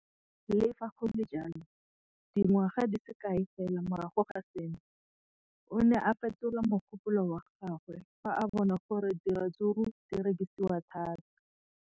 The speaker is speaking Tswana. Le fa go le jalo, dingwaga di se kae fela morago ga seno, o ne a fetola mogopolo wa gagwe fa a bona gore diratsuru di rekisiwa thata.